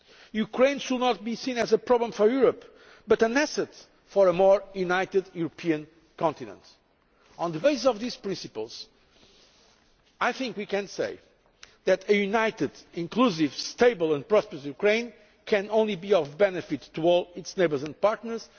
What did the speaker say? meet. Ukraine should not be seen as a problem for Europe but as an asset for a more united European continent. On the basis of these principles, I think we can say that a united, inclusive, stable and prosperous Ukraine can only be of benefit to all its neighbours and partners.